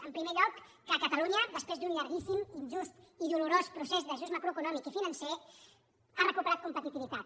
en primer lloc que catalunya des·prés d’un llarguíssim injust i dolorós procés d’ajust macroeconòmic i financer ha recuperat competitivi·tat